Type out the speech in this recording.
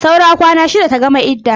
Saura kwana shida ta gama idda.